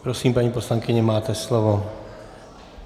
Prosím, paní poslankyně, máte slovo.